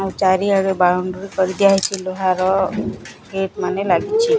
ଓ ଚାରିଆଡ଼ ବାଉଣ୍ଡ୍ରୀ କରିଦିଆହୋଇଚି ଲୁହାର ଗେଟ ମାନେ ଲାଗିଛି।